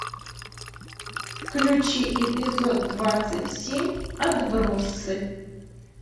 включи эпизод двадцать семь отбросы